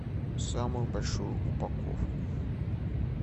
самую большую упаковку